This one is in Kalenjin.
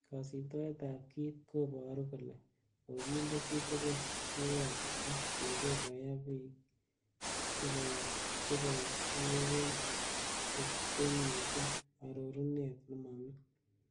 Kosibtoet ab kit ko boru kole kokinde chitugul kiwoto, ak kegeer koyaa bik cheboishiwech chenyite ororunet nemomi.